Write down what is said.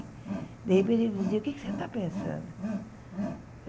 De repente ele dizia, o que é que você está pensando?